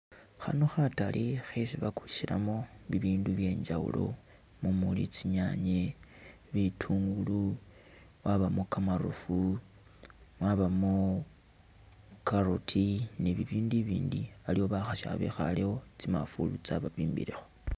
Khano khatale khesi bakulisilamo bibindu byenjawulo mumuli tsi’nyanye, bitungulu wabamo kamarofu , mwabamo carrot ni bibindu ibindi iliwo bakhasi abekhalewo tsi mafulu tsa’babimbilekho .